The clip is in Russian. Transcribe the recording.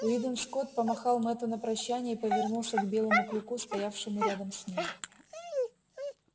уидон скотт помахал мэтту на прощанье и повернулся к белому клыку стоявшему рядом с ним